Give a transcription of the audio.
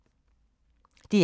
DR K